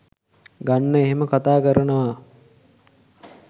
ගන්න එහෙම කතා කරනවා